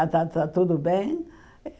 Ah está está tudo bem.